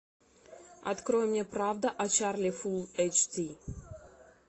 открой мне правда о чарли фул эйч ди